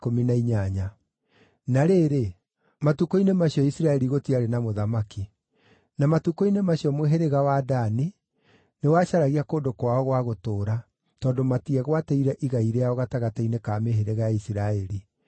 Na rĩrĩ, matukũ-inĩ macio Isiraeli gũtiarĩ na mũthamaki. Na matukũ-inĩ macio mũhĩrĩga wa Dani nĩwacaragia kũndũ kwao gwa gũtũũra, tondũ matiegwatĩire igai rĩao gatagatĩ-inĩ ka mĩhĩrĩga ya Isiraeli.